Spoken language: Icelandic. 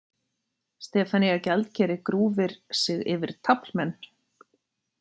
Stefanía gjaldkeri grúfir sig yfir taflmenn.